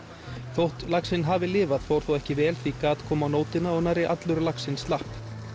þótt laxinn hafi lifað fór þó ekki vel því gat kom á nótina og nærri allur laxinn slapp